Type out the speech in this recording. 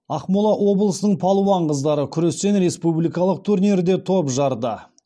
ақмола облысының палуан қыздары күрестен республикалық турнирде топ жарды